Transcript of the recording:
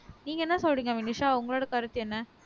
நீங்க என்ன சொல்றீங்க வினுஷா உங்களோட கருத்து என்ன